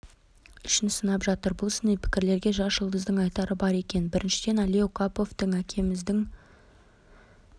үшін сынап жатыр бұл сыни пікірлерге жас жұлдыздың айтары бар екен біріншіден әли оқаповтың әкеміздің